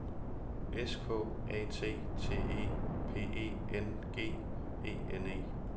S K A T T E P E N G E N E